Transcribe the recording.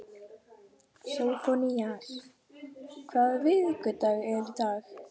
Sófónías, hvaða vikudagur er í dag?